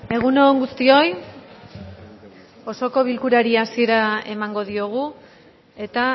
egun on guztioi osoko bilkurari hasiera emango diogu eta